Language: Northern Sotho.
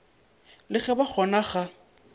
le go ba gona ga